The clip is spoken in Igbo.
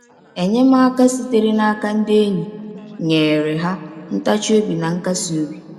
Enyemaka sitere n’aka ndị enyi nyeere ha ntachi obi na nkasi obi.